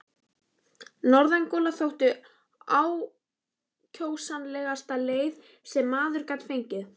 Norðangola þótti ákjósanlegasta leiði sem maður gat fengið.